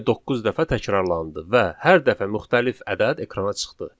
Cəmi doqquz dəfə təkrarlandı və hər dəfə müxtəlif ədəd ekrana çıxdı.